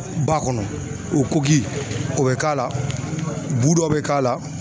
Ba kɔnɔ o koki o be k'a la bu dɔ be k'a la